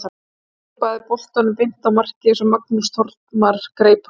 Hann vippaði boltanum beint á markið svo Magnús Þormar greip hann.